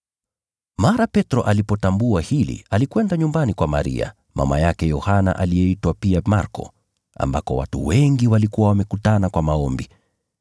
Mara Petro alipotambua hili alikwenda nyumbani kwa Maria, mama yake Yohana aliyeitwa pia Marko, ambako watu wengi walikuwa wamekutana kwa maombi.